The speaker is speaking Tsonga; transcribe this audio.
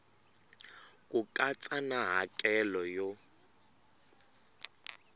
ku katsa na hakelo yo